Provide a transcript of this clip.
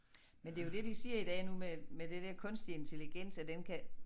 Men det jo det de siger i dag nu med med det der kunstig intelligens at den kan